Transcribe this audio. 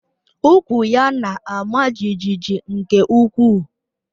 Ukwú ya na-ama jijiji nke ukwuu